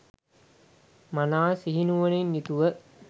මනා සිහි නුවණින් යුතුව